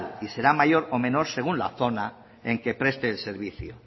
y será mayor o menor según la zona en que preste el servicio